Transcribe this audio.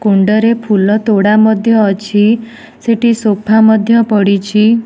କୁଣ୍ଡ ରେ ଫୁଲ ତୋଡ଼ା ମଧ୍ୟ ଅଛି ସେଠି ସୋଫା ମଧ୍ୟ ପଡ଼ିଛି।